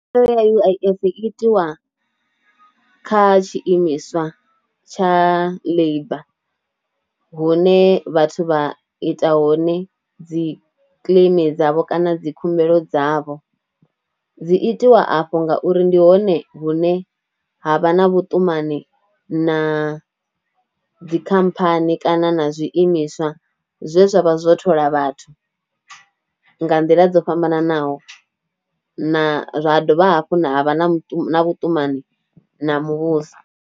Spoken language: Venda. Khumbelo ya U_I_F i itiwa kha tshiimiswa tsha labour hune vhathu vha ita hone dzi claim dzavho kana dzi khumbelo dzavho, dzi itiwa afho ngauri ndi hone hune ha vha na vhuṱumani na dzi khamphani kana na zwiimiswa zwine zwavha zwo thola vhathu nga nḓila dzo fhambananaho, na, ha dovha hafhu nda vha na vhuṱumani na muvhuso